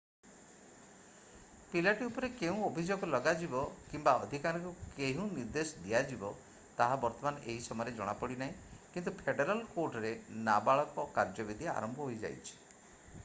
ପିଲାଟି ଉପରେ କେଉଁ ଅଭିଯୋଗ ଲଗାଯିବ କିମ୍ବା ଅଧିକାରୀଙ୍କୁ କେଉଁ ନିର୍ଦ୍ଦେଶ ଦିଆଯିବ ତାହା ବର୍ତ୍ତମାନ ଏହି ସମୟରେ ଜଣାପଡିନାହିଁ କିନ୍ତୁ ଫେଡେରାଲ୍ କୋର୍ଟରେ ନାବାଳକ କାର୍ଯ୍ୟବିଧି ଆରମ୍ଭ ହୋଇଯାଇଛି